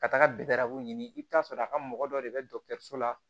Ka taga ɲini i bɛ t'a sɔrɔ a ka mɔgɔ dɔ de bɛ dɔgɔtɔrɔso la